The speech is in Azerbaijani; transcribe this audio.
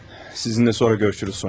Sizinlə sonra görüşərik, Sonya.